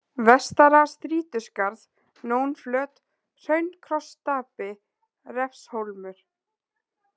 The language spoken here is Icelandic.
Vestara-Strýtuskarð, Nónflöt, Hraun-Krossstapi, Refshólmur